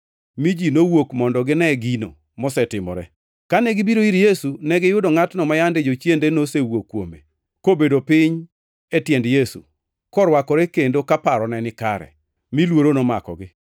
Mi ji nowuok mondo gine gino mosetimore. Kane gibiro ir Yesu, negiyudo ngʼatno ma yande jochiende nosewuok kuome, kobedo piny e tiend Yesu, korwakore kendo ka parone ni kare; mi luoro nomakogi.